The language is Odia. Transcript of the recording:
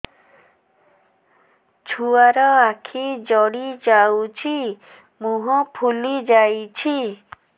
ଛୁଆର ଆଖି ଜଡ଼ି ଯାଉଛି ମୁହଁ ଫୁଲି ଯାଇଛି